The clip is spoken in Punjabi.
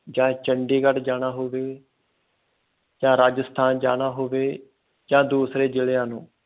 ਜਾ ਚੰਡੀਗੜ੍ਹ ਜਾਣਾ ਹੋਵੇ ਜਾ ਰਾਜਸਥਾਨ ਜਾਣਾ ਹੋਵੇ ਜਾ ਦੂਸਰੇ ਜ਼ਿਲਿਆਂ ਨੂੰ